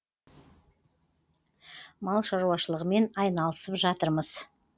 мал шаруашылығымен айналысып жатырмыз